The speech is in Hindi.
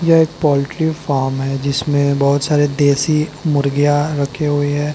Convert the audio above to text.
यह एक पोल्ट्री फॉर्म है जिसमें कई बहुत सारे देसी मुर्गियां रखे हुए।